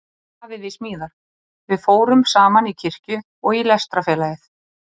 Afi við smíðar- við fórum saman í kirkju og í Lestrarfélagið.